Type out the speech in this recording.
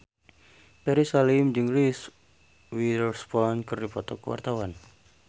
Ferry Salim jeung Reese Witherspoon keur dipoto ku wartawan